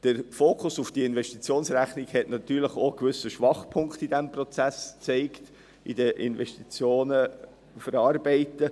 Der Fokus auf die Investitionsrechnung hat natürlich auch einen gewissen Schwachpunkt in diesem Prozess, bei der Verarbeitung der Investitionen, gezeigt.